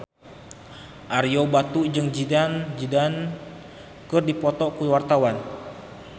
Ario Batu jeung Zidane Zidane keur dipoto ku wartawan